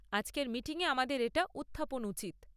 আজকের মিটিংয়ে আমাদের এটা উত্থাপন উচিত।